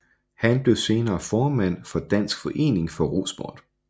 Han blev senere formand for Dansk forening for Rosport